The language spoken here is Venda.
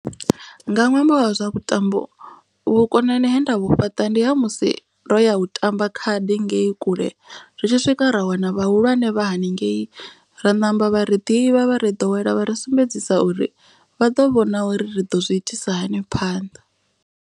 Nga ṅwambo wa zwa vhutambo vhukonani he nda vhu fhaṱa ndi ha musi ro ya u tamba khadi ngei kule. Ri tshi swika ra wana vhahulwane vha haningei. Ra ṋamba vha ri ḓivha vha ri ḓowela vha ri sumbedzisa uri vha ḓo vhona uri ri ḓo zwi itisa hani phanḓa.